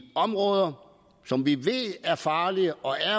områder som vi ved er farlige og